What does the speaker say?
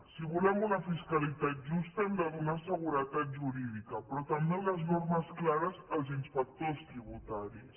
si volem una fiscalitat justa hem de donar seguretat jurídica però també unes normes clares als inspectors tributaris